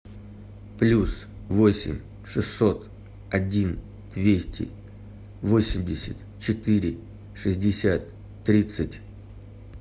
плюс восемь шестьсот один двести восемьдесят четыре шестьдесят тридцать